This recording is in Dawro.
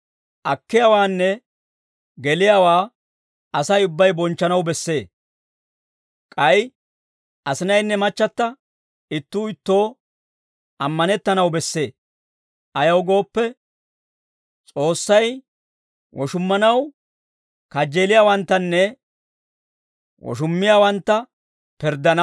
Akkiyaawaanne geliyaawaa Asay ubbay bonchchanaw bessee; k'ay asinaynne machchata ittuu ittoo ammanettanaw bessee; ayaw gooppe, S'oossay woshummanaw kajjeeliyaawanttanne woshummiyaawantta pirddana.